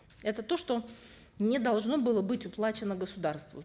это то что не должно было быть уплачено государству